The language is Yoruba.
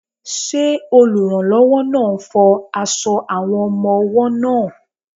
Ṣé olùrànlọ́wọ́ náà ń fọ aṣọ àwọn ọmọ-ọwọ́ náà?